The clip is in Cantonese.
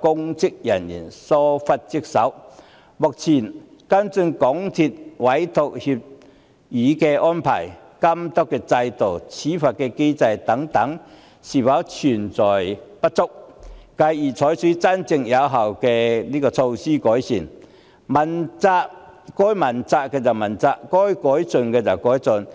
公職人員有否疏忽職守，現行涉及港鐵公司的委託協議安排、監督制度、處罰機制等是否存在不足；繼而採取真正有效的改善措施，該問責的問責，該改進的改進。